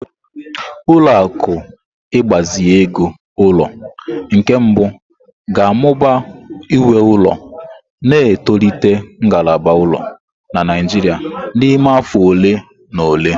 Ụlọ akụ ịgbazinye ego ulo nke mbụ ga-amụba nwe ụlọ, na-etolite ngalaba ụlọ na Naijiria n'ime afọ ole na ole.